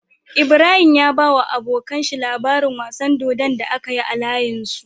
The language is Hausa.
Ibrahim ya bawa abokAnan shi labarin wasan dodon da akayi a layin su